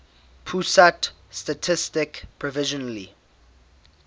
pusat statistik provisionally